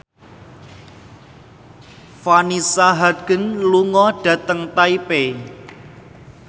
Vanessa Hudgens lunga dhateng Taipei